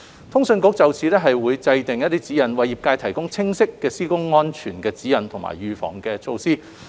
通訊局會就此制訂指引，為業界提供清晰的施工安全指引和預防措施。